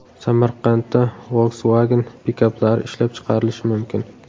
Samarqandda Volkswagen pikaplari ishlab chiqarilishi mumkin .